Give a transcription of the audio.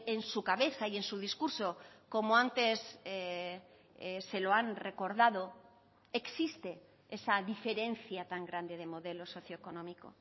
en su cabeza y en su discurso como antes se lo han recordado existe esa diferencia tan grande de modelo socioeconómico